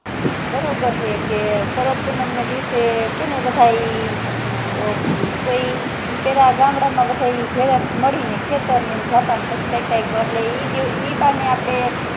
બારોબાર સે કહે શરદ પૂનમ ના દિવશે કહે ને બધા કોઈ પેહલા ગામડા માં બધા ભેગા મળીને ખેતર જાતા પછી કાય કરલે ઈ ઈ બાને